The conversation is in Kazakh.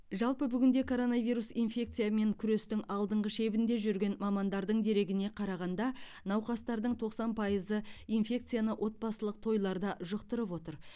жалпы бүгінде коронавирус инфекциясымен күрестің алдыңғы шебінде жүрген мамандардың дерегіне қарағанда науқастардың тоқсан пайызы инфекцияны отбасылық тойларда жұқтырып отыр